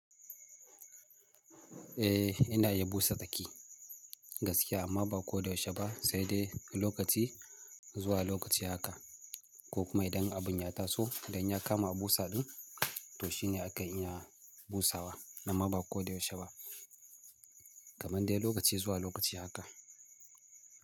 Eh ina yi busa daki gaskiya amma ba ko da yaushe ba sai dai lokaci zuwa lokaci haka. Ko kuma idan abun ya taso idan ya kama a busa ɗin to shine akan iya busawa amma ba ko da yaushe ba. Kaman dai lokaci zuwa lokaci haka.